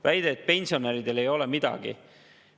Väitsite, et pensionäridele ei ole midagi.